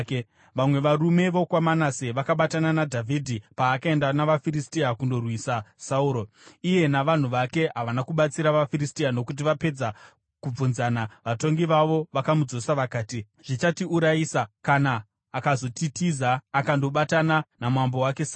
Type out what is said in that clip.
Vamwe varume vokwaManase vakabatana naDhavhidhi paakaenda navaFiristia kundorwisa Sauro. Iye navanhu vake havana kubatsira vaFiristia nokuti, vapedza kubvunzana, vatongi vavo vakamudzosa vakati, “Zvichatiurayisa kana akazotitiza akandobatana namambo wake Sauro.”